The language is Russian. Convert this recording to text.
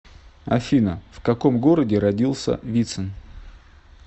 афина в каком городе родился вицин